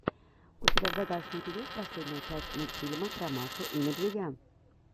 у тебя в загашнике есть последняя часть мультфильма про машу и медведя